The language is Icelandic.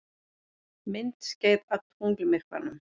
Myndskeið af tunglmyrkvanum